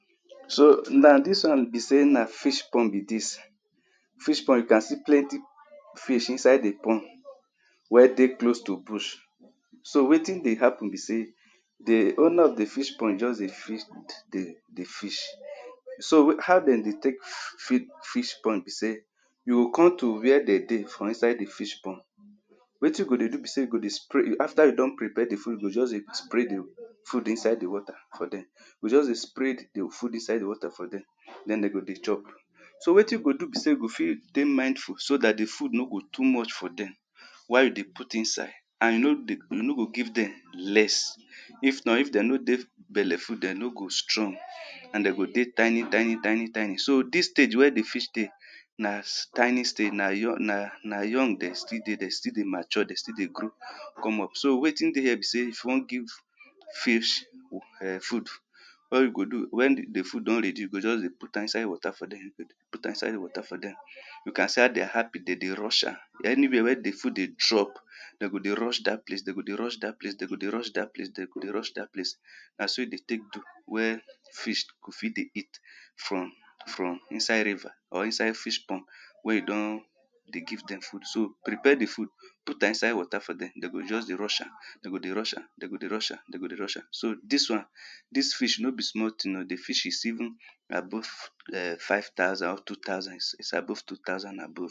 so na dis wan be sey na fish pond be dis fish pond you can see plenti fish inside di pond wey dey close to bush so wetin dey happen be say di owna of di fish pond just dey feed di fish so how dem dey tek fill fish pond be say you go com to wia dem de for inside di fish pond wetin you go dey do be say you go dey spray afta you don prepare di food you go just dey spray di food inside di wata for dem you go just dey spray di food inside di wata for dem den dem go dey chop so wetin you go do be say you go fit dey mindful so dat di food no go too much for dem while you dey put inside and no dey you no go give dem less if not if dem no dey belleful dem no go strong and dey go dey tiny tiny tiny tiny so dis stage wey di fish de na tiny stage na young dem still dey dem still dey mature dem still dey grow com up so wetin dey hia be say if you wan give fish um food what you go do wen di food don redi you go just dey put am for inside wata for dem you can see how dem hapi dem dey rush am aniwia wey di food dey drop dem go dey rush dat place dem go dey rush dat place dem go dey rush dat place dem go dey rush dat place na so e dey tek do wen fish fit dey eat from from insde riva or inside fish pon wey you don dey give dem food so prepare di food put am inside wata for dem dem go just dey rush am dem go dey rush am dem go dey rush am dem go dey rush am so dis wan dis fish no be small tin oh di fish is even above um five thousand um two thousand is is above two thousand above